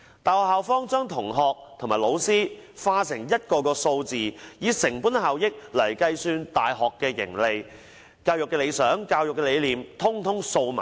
大學校方把同學和老師化成數字，以成本效益計算大學盈利，至於教育理想和理念，卻全部掃在兩旁。